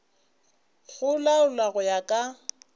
go laolwa go ya ka